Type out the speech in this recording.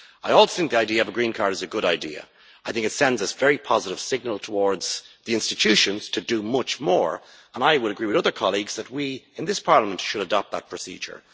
I also think the idea of a green card is a good idea. I think it sends a very positive signal towards the institutions to do much more, and I would agree with other colleagues that we, in this Parliament, should adopt that procedure.